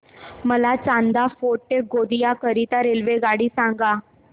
मला चांदा फोर्ट ते गोंदिया करीता रेल्वेगाडी सांगा